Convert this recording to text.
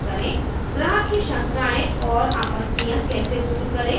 ग्राहक की शंकाएं और आपत्तियाँ कैसे दूर करें और